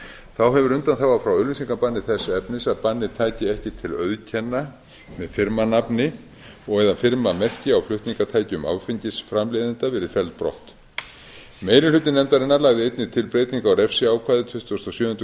þá hefur undanþága frá auglýsingabanni þess efnis að bannið tæki ekki til auðkenna með firmanafni og eða firmamerki á flutningatækjum áfengisframleiðenda verið felld brott meiri hluti nefndarinnar lagði einnig til breytingu á refsiákvæði tuttugasta og sjöundu